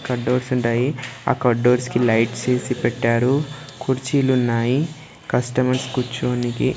Cathodes ఉంటాయి ఆ కడోడ్స్ కి లైట్సె వేసి పెట్టారు కుర్చీలు ఉన్నాయి కస్టమర్స్ కుచ్చోనికి.